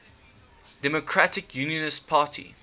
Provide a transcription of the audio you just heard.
democratic unionist party